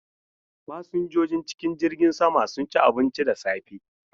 Fasinjojin cikin jirgin sama sun ci abinci da safe.